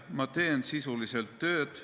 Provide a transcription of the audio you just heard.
Ma teen sisuliselt tööd.